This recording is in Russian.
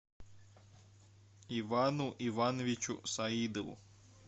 ивану ивановичу саидову